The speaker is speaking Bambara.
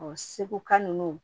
Ɔ seguka nunnu